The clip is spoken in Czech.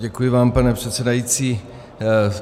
Děkuji vám, pane předsedající.